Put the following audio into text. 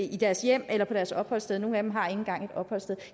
i deres hjem eller på deres opholdssted og nogle af dem har ikke engang et opholdssted